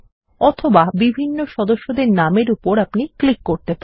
অথবা বিভিন্ন সদস্যদের নাম এর উপর ক্লিক করতে পারেন